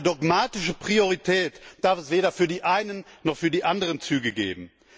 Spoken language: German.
Eine dogmatische Priorität darf es weder für die einen noch für die anderen Züge geben.